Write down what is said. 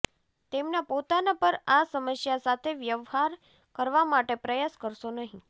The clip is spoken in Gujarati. તેમના પોતાના પર આ સમસ્યા સાથે વ્યવહાર કરવા માટે પ્રયાસ કરશો નહીં